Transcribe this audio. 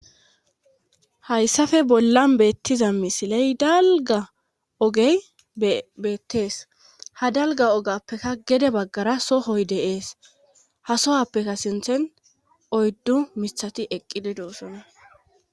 hayssafe bollan beettiza misiley dalga ogey beettees ha dalga ogappekka gede baggara sohoy deees ha sohappekka sinthen oyddu mithati eqqideduussonna